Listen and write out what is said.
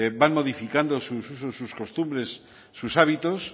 van modificando sus usos sus costumbres sus hábitos